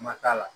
Ma t'a la